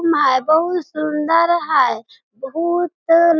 room है बहुत सुंदर है बहुतत --